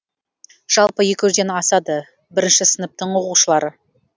жалпы екі жүзден асады бірінші сыныптың оқушылары